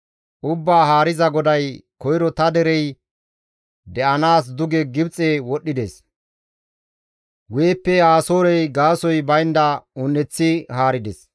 Ubbaa Haariza GODAY, «Koyro ta derey de7anaas duge Gibxe wodhdhides; guyeppe Asoorey gaasoykka baynda un7eththi haarides.